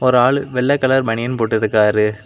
ஒரு ஆளு வெள்ள கலர் பனியன் போட்டுருக்காரு.